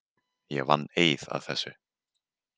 Ég vann eið að þessu.